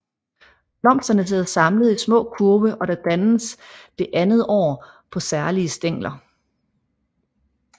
Blomsterne sidder samlet i små kurve der dannes det andet år på særlige stængler